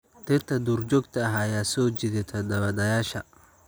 Dhirta duurjoogta ah ayaa soo jiidata daawadayaasha.